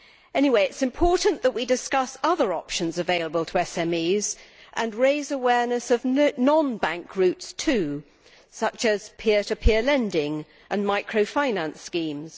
Anyway, it is important that we discuss other options available to SMEs and raise awareness of non bank routes too, such as peer to peer lending and micro financed schemes.